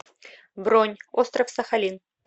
бронь остров сахалин